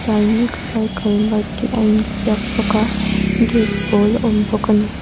sainik cycle mart tih a in ziak bawk a gate pâwl a awm bawk ani.